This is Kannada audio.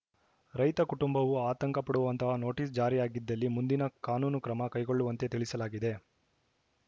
ರೈತ ಕುಟುಂಬವು ಆತಂಕ ಪಡುವಂತಹ ನೋಟಿಸ್‌ ಜಾರಿಯಾಗಿದ್ದಲ್ಲಿ ಮುಂದಿನ ಕಾನೂನು ಕ್ರಮ ಕೈಗೊಳ್ಳುವಂತೆ ತಿಳಿಸಲಾಗಿದೆ